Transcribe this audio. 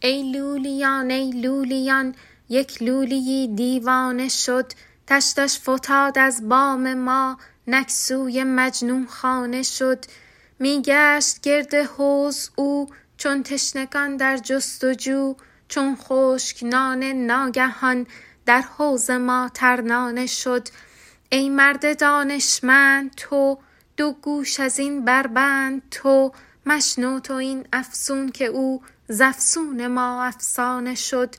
ای لولیان ای لولیان یک لولی یی دیوانه شد تشتش فتاد از بام ما نک سوی مجنون خانه شد می گشت گرد حوض او چون تشنگان در جست و جو چون خشک نانه ناگهان در حوض ما ترنانه شد ای مرد دانشمند تو دو گوش از این بربند تو مشنو تو این افسون که او ز افسون ما افسانه شد